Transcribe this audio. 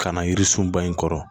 Ka na yiririsun ba in kɔrɔ